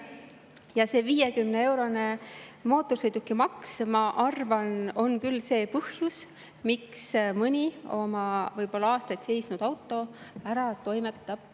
Ja see 50-eurone mootorsõidukimaks, ma arvan, on küll põhjus, miks mõni oma võib-olla aastaid seisnud auto ära toimetab.